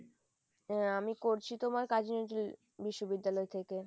আহ আমি করছি তোমার কাজী নজরুল বিশ্ববিদ্যালয় থেকে।